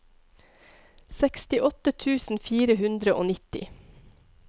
sekstiåtte tusen fire hundre og nitti